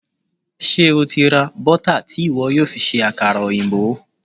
Ṣé o ti ra bọ́tà tí ìwọ yóò fi ṣe àkàrà òyìnbó?